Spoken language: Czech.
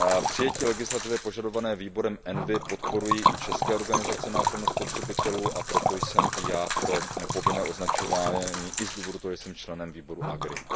Přijetí legislativy požadované výborem ENVI podporují i české organizace na ochranu spotřebitelů, a proto jsem i já pro povinné označování, i z důvodu toho, že jsem členem výboru AGRI.